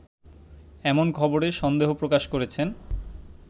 এমন খবরে সন্দেহ প্রকাশ করেছেন